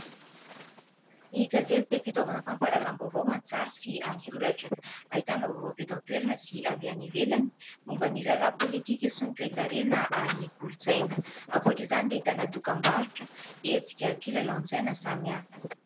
Ny gazety dia fitaovana fampahalalam-baovao an-tsary sy an-tsoratra, ahitana vaovao avy eto an-toerana sy avy any ivelany momban' ny raharaha politika sy ny toekarena ary ny kolotsaina; ankoatr'izany dia ahitana dokambarotra, hetsika, kilalao an-tsaina samihafa.